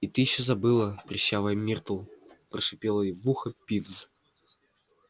и ты ещё забыла прыщавая миртл прошипел ей в ухо пивз